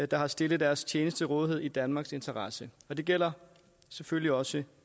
der har stillet deres tjeneste til rådighed i danmarks interesse og det gælder selvfølgelig også